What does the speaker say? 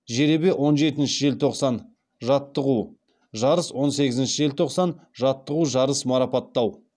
жеребе он жетінші желтосан жаттығу жарыс он сегізінші желтоқсан жаттығу жарыс марапаттау